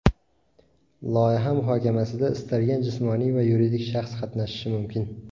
Loyiha muhokamasida istalgan jismoniy va yuridik shaxs qatnashishi mumkin.